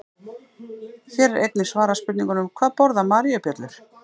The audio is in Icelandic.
Hér er einnig svarað spurningunum: Hvað borða maríubjöllur?